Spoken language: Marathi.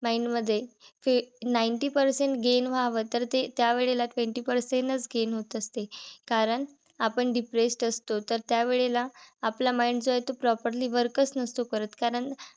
Mind मध्ये ninety percent gain व्हाव तर ते त्यावेळेला twenty percent च gain होत असते. कारण आपण depressed असतो. तर त्यावेळेला आपला mind जो आहे तो properly work च नसतो करत.